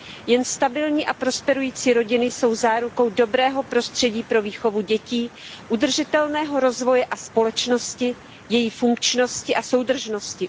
Jen stabilní a prosperující rodiny jsou zárukou dobrého prostředí pro výchovu dětí, udržitelného rozvoje a společnosti, její funkčnosti a soudržnosti.